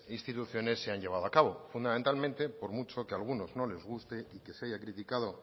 instituciones se han llevado a cabo fundamentalmente por mucho que alguno no les guste y que se haya criticado